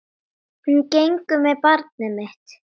Hún gengur með barn mitt.